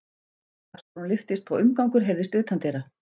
Dagsbrún lyftist og umgangur heyrðist utandyra.